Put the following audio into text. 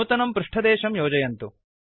नूतनं पृष्ठदेशं योजयन्तु